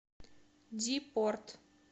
ди порт